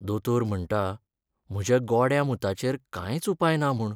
दोतोर म्हण्टा म्हज्या गोड्या मुताचेर कांयच उपाय ना म्हूण.